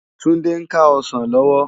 Tunde n ká òsán lòwò